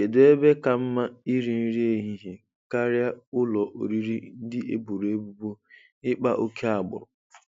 Kedụ ebe ka mma iri nri ehihie karịa ụlọ oriri ndị eboro ebubo ịkpa oke agbụrụ?